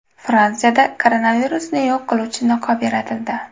Fransiyada koronavirusni yo‘q qiluvchi niqob yaratildi.